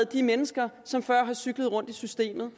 de mennesker som før har cyklet rundt i systemet